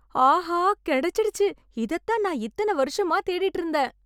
ஆஹா! கிடைச்சிடுச்சு. இதைத் தான் நான் இத்தன வருஷமா தேடிட்டு இருந்தேன்!